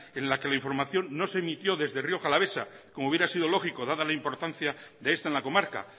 en la que la información no se emitió desde rioja alavesa como hubiera sido lógico dada la importancia de esta en la comarca